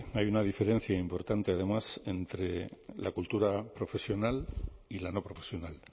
hay una diferencia importante además entre la cultura profesional y la no profesional